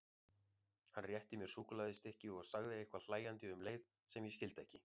Hann rétti mér súkkulaðistykki og sagði eitthvað hlæjandi um leið sem ég skildi ekki.